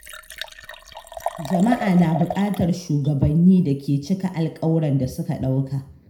Jama’a na buƙatar shugabanni da ke cika alƙawurran da suka ɗauka.